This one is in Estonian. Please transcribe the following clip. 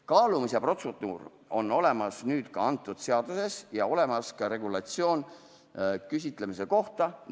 Kaalumise protseduur on olemas nüüd ka antud seaduses ja olemas on ka regulatsioon küsitlemise kohta.